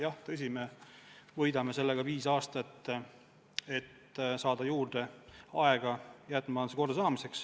Jah, tõsi, me võidame sellega viis aastat, et saada juurde aega jäätmemajanduse kordasaamiseks.